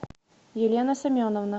елена семеновна